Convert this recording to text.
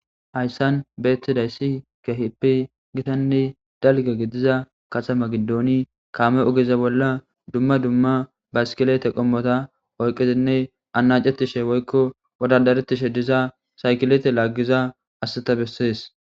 Hayssan beettidayssi gehipi gitanne dalgegidiza kasa ma gidooni kaame ogeza bolla dumma dumma baskilete qommota oyqezinne ana cetishe woykko wodadaretishe diza saykilete laaggiza asseta bessees.